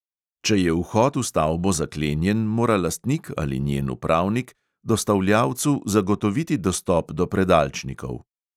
Če je vhod v stavbo zaklenjen, mora lastnik ali njen upravnik dostavljavcu zagotoviti dostop do predalčnikov.